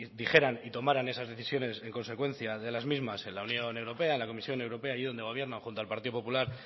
dijeran y tomaran esas decisiones en consecuencia de las mismas en la unión europea en la comisión europea ahí donde gobierna junto al partido popular